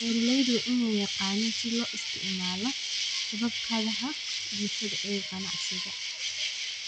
Beeraleydu waa inay yaqaaniin sida loo isticmaalo shabakadaha bulshada ee ganacsiga.